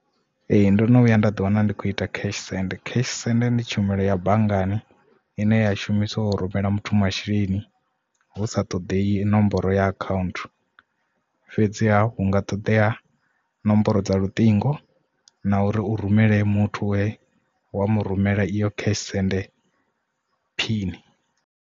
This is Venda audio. Ee ndono vhuya nda ḓi wana ndi kho ita cash send. Cash send ndi tshumelo ya banngani ine ya shumiswa u rumela muthu masheleni hu sa ṱoḓei nomboro ya account fhedzi hunga ṱoḓea nomboro dza luṱingo na uri u rumele muthu we wa mu rumela iyo cash send phini.